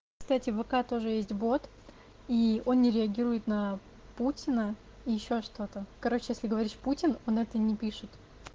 кстати в вк тоже есть вот и он не реагирует на путина и ещё что-то короче если говоришь путин он это не пишет